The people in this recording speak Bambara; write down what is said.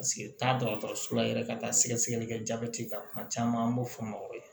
Paseke taa dɔgɔtɔrɔso la yɛrɛ ka taa sɛgɛ sɛgɛli kɛ jabɛti kan kuma caman an b'o fɔ ma o ye